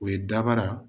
O ye dabara